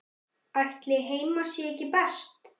Ætli heima sé ekki best?